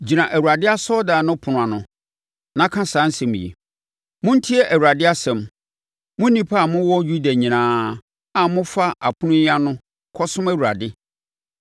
“Gyina Awurade asɔredan no ɛpono ano, na ka saa asɛm yi: “ ‘Montie Awurade asɛm, mo nnipa a mo wɔ Yuda nyinaa a mofa apono yi ano kɔsom Awurade.